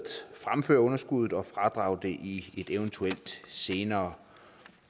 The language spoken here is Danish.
fremføre underskuddet og fradrage det i et eventuelt senere